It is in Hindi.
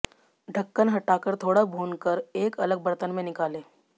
ढक्कन हटाकर थोड़ा भूनकर एक अलग बर्तन में निकालें